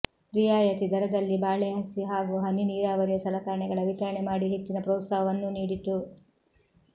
ರಿಯಾಯತಿ ದರದಲ್ಲಿ ಬಾಳೆ ಸಸಿ ಹಾಗೂ ಹನಿ ನೀರಾವರಿಯ ಸಲಕರಣೆಗಳ ವಿತರಣೆ ಮಾಡಿ ಹೆಚ್ಚಿನ ಪ್ರೋತ್ಸಾಹವನ್ನೂ ನೀಡಿತು